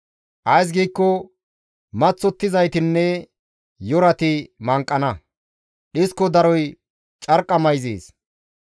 Ays giikko maththottizaytinne yorati manqana; dhisko daroy carqqa mayzees.